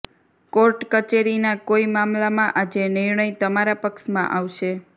court કચેરીના કોઈ મામલામાં આજે નિર્ણય તમારા પક્ષમાં આવશે